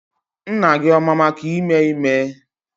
Nna gị ọ ma maka ime ime?